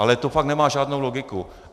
Ale to fakt nemá žádnou logiku.